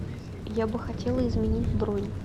я бы хотела изменить бронь